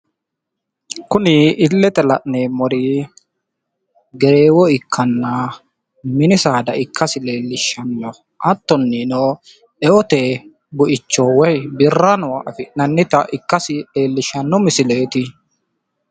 Kuni ilete la'neemmori gereewo ikkanna insano mini saadati insawinni afi'neemmo horo heeshsho woyyeesate birra soori'nenna sagalimate horonsi'neemmore mini saada ikkase xawisano